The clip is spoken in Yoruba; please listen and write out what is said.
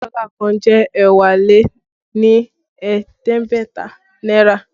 Dọ́là kan jẹ́ ẹ́wá lé ní ẹ̀ẹ́dẹ́gbẹ̀ta náírà